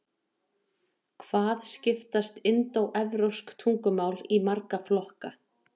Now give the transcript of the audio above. hvað skiptast indóevrópsk tungumál í marga flokka